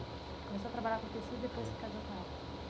Começou a trabalhar com tecido é depois que casou com ela.